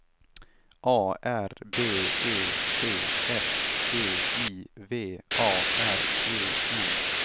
A R B E T S G I V A R E N